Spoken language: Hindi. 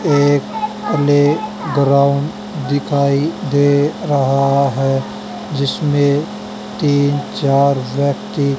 एक प्ले ग्राउंड दिखाई दे रहा है जिसमें तीन चार व्यक्ति--